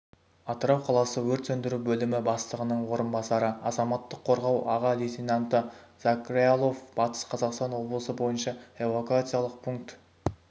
атырау қаласы өрт сөндіру бөлімі бастығының орынбасары азаматтық қорғау аға лейтенанты закраилов батыс-қазақстан облысы бойынша эвакуациялық пункт